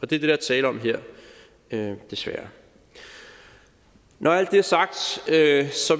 det der er tale om her desværre når alt det er sagt